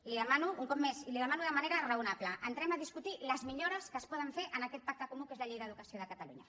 li ho demano un cop més i li ho demano de manera raonable entrem a discutir les millores que es poden fer en aquest pacte comú que és la llei d’educació de catalunya